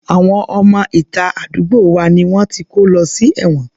Àwọn ọmọ ìta àdúgbò wa ni wọ́n ti kó lọ sí ẹ̀wọ̀n